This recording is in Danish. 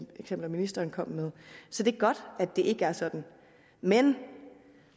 eksempler ministeren kom med så det er godt at det ikke er sådan men